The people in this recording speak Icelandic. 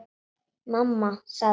Mamma sagði hún.